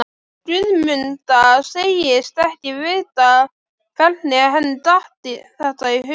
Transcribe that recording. Guðmunda segist ekki vita hvernig henni datt þetta í hug.